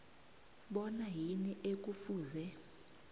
bona yini ekufuze